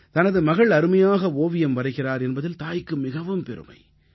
தனது மகள் அருமையாக ஓவியம் வரைகிறார் என்பதில் தாய்க்கு மிகவும் பெருமை